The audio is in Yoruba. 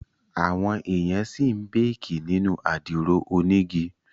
Àwọn èèyàn ṣì ń béèkì nínú àdìro onígi